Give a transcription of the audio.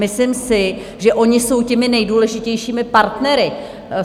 Myslím si, že oni jsou těmi nejdůležitějšími partnery.